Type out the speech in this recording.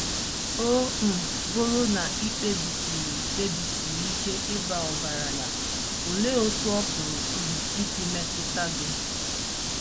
Ọ um Bụrụ na I Kpebisiri Kpebisiri Ike Ịba Ọgaranya Olee Otú Ọ Pụrụ um Isi Metụta Gị?